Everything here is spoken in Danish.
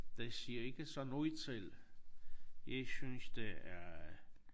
Det siger ikke så noget selv. Jeg synes det er